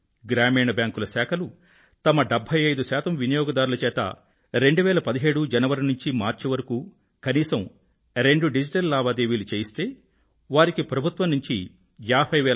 గ్రామీణ బ్యాంకుల శాఖలు తమ 75 శాతం వినియోగదారుల చేత 2017 జనవరి నుండి మార్చి వరకూ కనీసం 2 డిజిటల్ లావాదేవీలు చేయిస్తే వారికి ప్రభుత్వం నుండి రూ